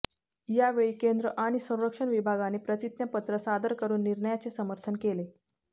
यावेळी केंद्र आणि संरक्षण विभागाने प्रतिज्ञापत्र सादर करून निर्णयाचे समर्थन केले